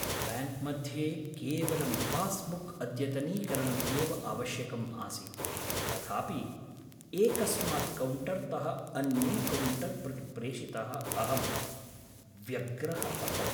ब्याङ्क्मध्ये केवलं पास्बुक्अद्यतनीकरणम् एव आवश्यकम् आसीत्, तथापि एकस्मात् कौण्टर्तः अन्यं कौण्टर् प्रति प्रेषितः अहं व्यग्रः अभवम्।